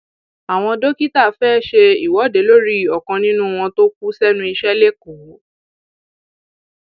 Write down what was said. àwọn dókítà fẹẹ ṣe ìwọde lórí ọkan nínú wọn tó kù sẹnu iṣẹ lẹkọọ